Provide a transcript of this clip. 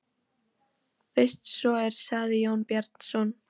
Fyrst svo er, sagði Jón Bjarnason.